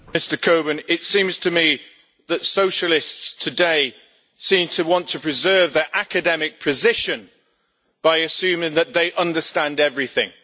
Mr Coburn, it seems to me that socialists today want to preserve their academic position by assuming that they understand everything.